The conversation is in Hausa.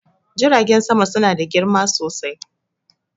jiragen sama suna da girma sosai